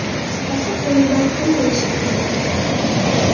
Qisqasi, qo‘limdan hamma ish keladi.